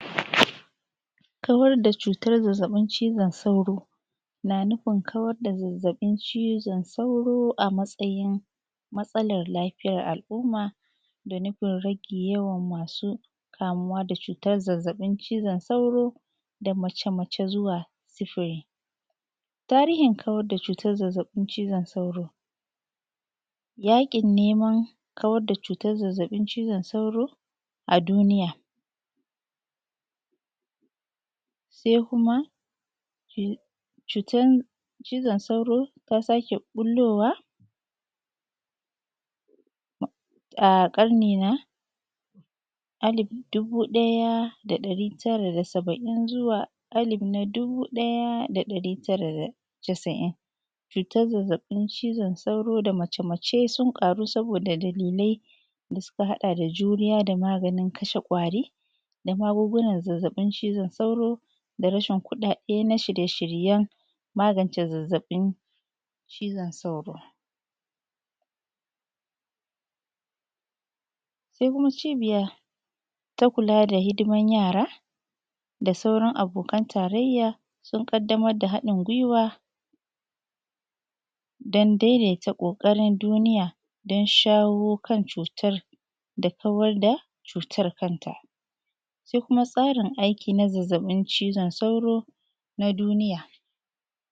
kawar da cutar zazzaɓin cizon sauro na nufin kawar da zazzaɓin cizon sauro a matsayin matsalan lafiyar al’umma da nufin rage yawan masu kamuwa da cutar zazzaɓin cizon sauro da mace mace zuwa sifili tarhin kawar da cutar zazzaɓin cizon sauro yaƙin neman kawar da cutar zazzaɓin cizon sauro a duniya sai kuma cutar cizon sauro ta sake ɓullowa a ƙarni na alif dubu ɗaya da ɗari tara da saba’in zuwa na alif dubu ɗaya da ɗari tara da da casa’in cutar zazzaɓin cizon sauro da mace mace sun ƙaru saboda dalilai da suka haɗa da juriya da maganin kasha ƙwari da magungunan zazzaɓin cizon sauro da rashin kuɗaɗe na shirye shiryen magance zazzaɓin cizon sauro sai kuma cibiya ta kula da hidiman yara da sauran abokan tarayya sun ƙaddamar da haɗin guaiwa don ɗan daidaita ƙoƙarin duniya don shawo kan cutar da kawar da cutar kanta sai kuma tsarin aiki na zazzaɓin cizon sauro na duniya